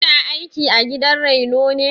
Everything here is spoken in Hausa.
Kina aiki a gidan raino ne?